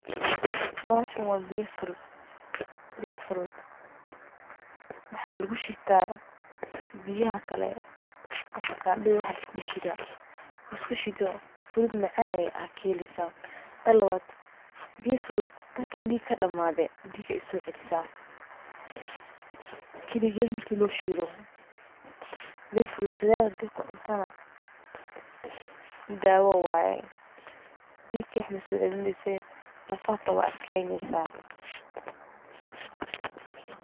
Bahashan wa biyo furut oo waxa lugushita furut kale sida ofkasada iyo waxas iskushito furut macan ayey kasobixini, tan kale dadka dhiga kadamade ayey dhiga usocelisa kaliged marki lashido mar wax kale lugudarana dawo waye oo dhiga kaliya masocelise lafaha xita wey adkeyni.